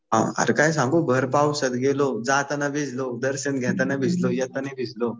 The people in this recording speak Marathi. अरे काय सांगू, भर पावसात गेलो. जाताना भिजलो, दर्शन घेताना भिजलो, येताना भिजलो.